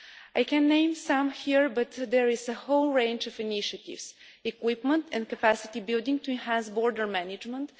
I can name some here but there is a whole range of initiatives equipment and capacity building to enhance border management